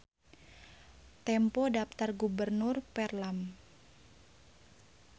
Tempo Daptar Gubernur Värmland.